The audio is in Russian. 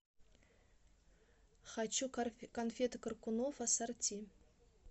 хочу конфеты коркунов ассорти